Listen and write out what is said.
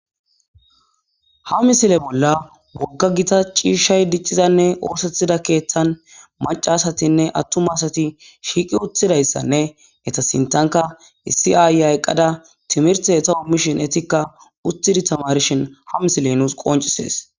Ha misile bolla wogga gita ciishshay diccizanne oosethida keeththan macasatinne attuma asati shiiqi uthidayssanne eta sintanka issi aayya eqqada timirti eta ommishin etikka uttidi tamarshin ha misile nuus qoncisees.